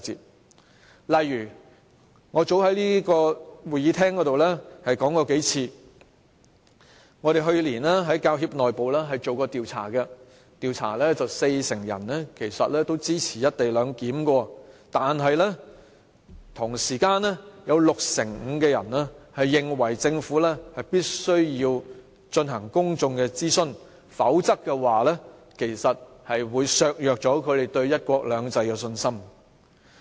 舉例來說，我早在這個會議廳內說過數次，我們去年曾在教協內部進行調查，四成受訪者表示支持"一地兩檢"，但同時，有六成五受訪者認為政府必須進行公眾諮詢，否則，會削弱他們對"一國兩制"的信心。